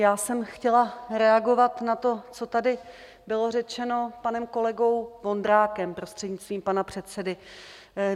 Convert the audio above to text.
Já jsem chtěla reagovat na to, co tady bylo řečeno panem kolegou Vondrákem, prostřednictvím pana předsedy.